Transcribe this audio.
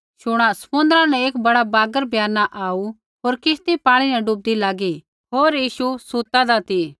शुणा समुन्द्रा न एक बड़ा बागर ब्याना आऊ होर किश्ती पाणी न डुबदी लागी होर यीशु सुतादा ती